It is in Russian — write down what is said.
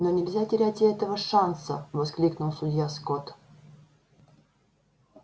но нельзя терять и этого шанса воскликнул судья скотт